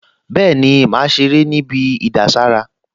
Bẹ́ẹ̀ni, màá ṣeré níbi ìdására